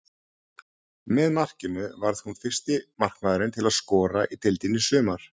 Með markinu varð hún fyrsti markmaðurinn til að skora í deildinni í sumar.